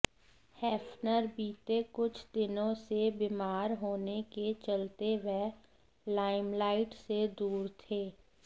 Hefner बीते कुछ दिनों से बीमार होने के चलते वह लाइमलाइट से दूर थे